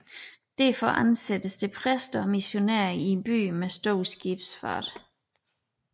Derfor ansættes der præster og missionærer i byer med stor skibsfart